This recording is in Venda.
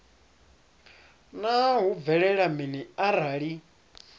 naa hu bvelela mini arali